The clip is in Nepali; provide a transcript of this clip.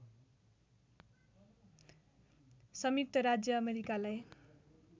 संयुक्त राज्य अमेरिकालाई